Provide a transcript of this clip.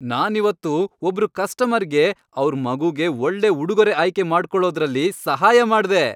ನಾನಿವತ್ತು ಒಬ್ರು ಕಸ್ಟಮರ್ಗೆ ಅವ್ರ್ ಮಗುಗೆ ಒಳ್ಳೆ ಉಡುಗೊರೆ ಆಯ್ಕೆ ಮಾಡ್ಕೊಳೋದ್ರಲ್ಲಿ ಸಹಾಯ ಮಾಡ್ದೆ.